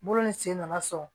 Bolo ni sen nana sɔn